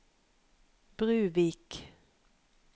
Bruvik